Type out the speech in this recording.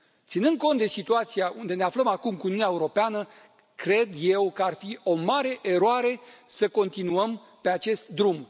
Ținând cont de situația unde ne aflăm acum cu Uniunea Europeană, cred eu că ar fi o mare eroare să continuăm pe acest drum.